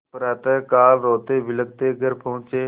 प्रातःकाल रोतेबिलखते घर पहुँचे